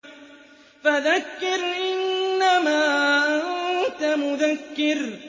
فَذَكِّرْ إِنَّمَا أَنتَ مُذَكِّرٌ